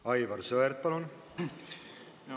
Aivar Sõerd, palun!